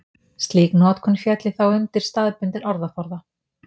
slík notkun félli þá undir staðbundinn orðaforða